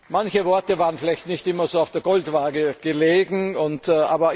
Manche Worte waren vielleicht nicht immer auf die Goldwaage gelegt worden.